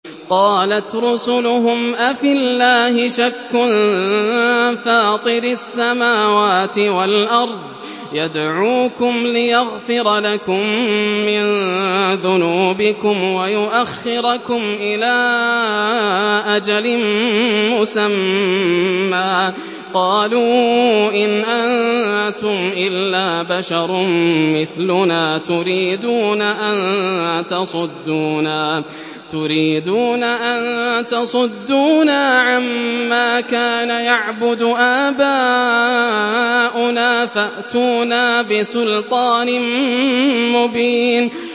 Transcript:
۞ قَالَتْ رُسُلُهُمْ أَفِي اللَّهِ شَكٌّ فَاطِرِ السَّمَاوَاتِ وَالْأَرْضِ ۖ يَدْعُوكُمْ لِيَغْفِرَ لَكُم مِّن ذُنُوبِكُمْ وَيُؤَخِّرَكُمْ إِلَىٰ أَجَلٍ مُّسَمًّى ۚ قَالُوا إِنْ أَنتُمْ إِلَّا بَشَرٌ مِّثْلُنَا تُرِيدُونَ أَن تَصُدُّونَا عَمَّا كَانَ يَعْبُدُ آبَاؤُنَا فَأْتُونَا بِسُلْطَانٍ مُّبِينٍ